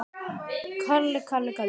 Eða, eða hvað?